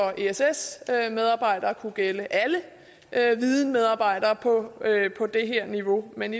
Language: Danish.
ess medarbejdere kunne gælde alle videnmedarbejdere på det her niveau men